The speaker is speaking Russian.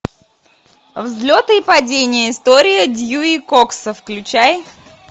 взлеты и падения история дьюи кокса включай